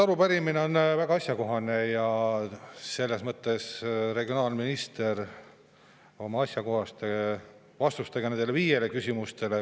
Arupärimine on väga asjakohane ja regionaalminister asjakohased vastused nendele viiele küsimustele.